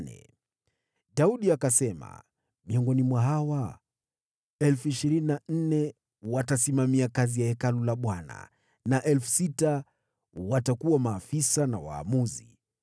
Daudi akasema, “Miongoni mwa hawa, 24,000 watasimamia kazi ya Hekalu la Bwana na 6,000 watakuwa maafisa na waamuzi,